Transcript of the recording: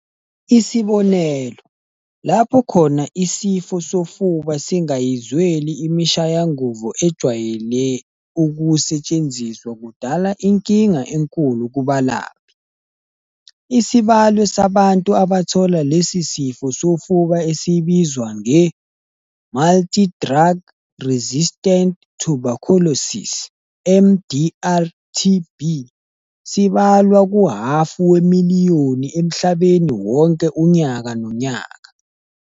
Isibonelo, lapho khona isifo sofuba singayizweli imishayanguzo ejwayele ukusetshenziswa kudala inkinga enkulu kubalaphi. Isibalo sabantu abathola lesi sifo sofuba esibizwa nge- multidrug-resistant tuberculosis, MDR-TB, sibalwa kuhhafu wemiliyoni emhlabeni wonke unyaka nonyaka.